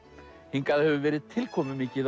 hingað hefur verið tilkomumikið